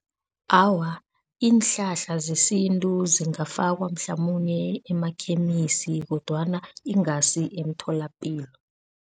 Awa, iinhlahla zesintu zingafakwa mhlamunye emakhemisi kodwana ingasi emtholapilo.